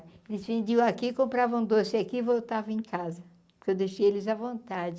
Eles vendiam aqui, compravam doce aqui e voltavam em casa, porque eu deixei eles à vontade.